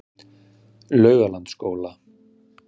Laugalandsskóla